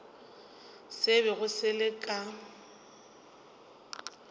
se bego se le ka